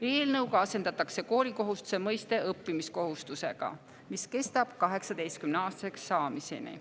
Eelnõuga asendatakse koolikohustuse mõiste õppimiskohustusega, mis kestab 18-aastaseks saamiseni.